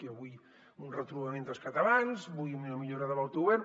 jo vull un retrobament dels catalans vull una millora de l’autogovern